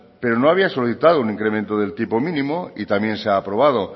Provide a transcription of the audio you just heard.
pero no había solicitado un incremento del tipo mínimo y también se ha aprobado